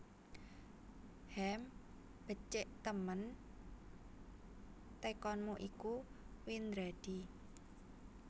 Hem becik temen tekonmu iku Windradi